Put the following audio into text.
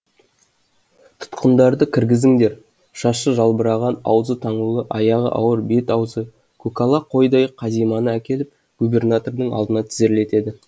тұтқынды кіргіңіздер шашы жалбыраған аузы таңулы аяғы ауыр бет аузы көкала қойдай қазиманы әкеліп губернатордың алдына тізерлетеді